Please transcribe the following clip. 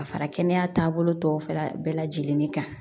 Ka fara kɛnɛya taabolo tɔw fara bɛɛ lajɛlen kan